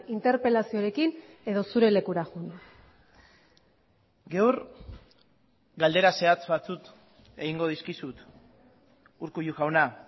interpelazioarekin edo zure lekura joan gaur galdera zehatz batzuk egingo dizkizut urkullu jauna